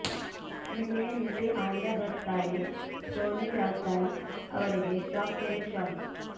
ನಿನ್ನೆ ನಟಿ ಆಲಿಯಾ ಭಟ್ ತಾಯಿ ಸೋನಿ ರಾಜ್ದಾನ್ ಅವರಿಗೆ ಶಾಕ್ ಮೇಲೆ ಶಾಕ್